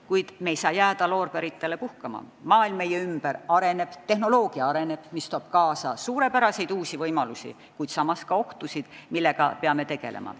Kuid me ei tohi jääda loorberitele puhkama, maailm meie ümber areneb, tehnoloogia areneb ja see toob kaasa suurepäraseid uusi võimalusi, kuid samas ka ohtusid, millega peame tegelema.